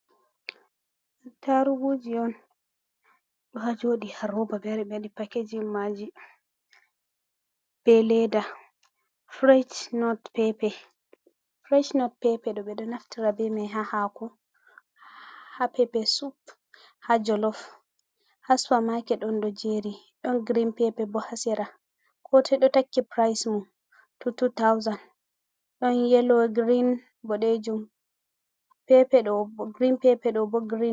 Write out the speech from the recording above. Ataruguji on ɗo ha joɗi ha roba ɓewari ɓewaɗi pakejim majum be leda frech not pepe, french not pepe ɗo ɓeɗo naftira be mai ha hako, ha pepe super, ha jolof, ha super maket on ɗo jeri, don green pepe bo ha sera kotoi do takki pryce mun two two thousand ɗon yelo grin boɗejum pepe ɗo grin pepe ɗo bo grin.